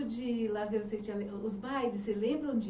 Que tipo de lazer vocês tinham? Os os bailes, vocês lembram onde